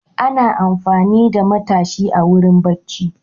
Ana amfani da matashi a wurin bacci.